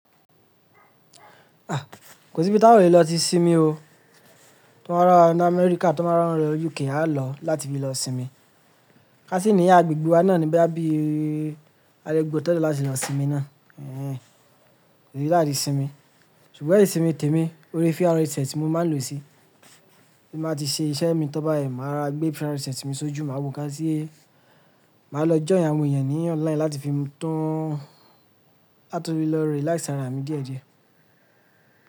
A! Kò sí ibi táa lè lọ ti sinmi o. Tí wọ́n bá rán Amẹ́ríkà, tí wọ́n bá rán UK, a lọ láti ibi lọ sinmi. Ká sì ní ìhà agbègbè wa náà ni bí a bí, a lè gbò hotel láti lọ sinmi náà. Ehn, iyen láti sinmi. Ṣùgbọ́n isimi tèmi, orí frss mi máa ń lò o sí. Bí mo bá ti ṣe iṣẹ́ mi tó bá yen màá ra gbé primary set mi sójú, màá bu ká sí e. Màá lọ jọ́in àwọn èèyàn ní online láti fi mú tán, láti fi lọ relax ara mi díẹ̀díẹ̀.